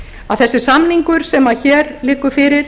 að þessi samningur sem hér liggur fyrir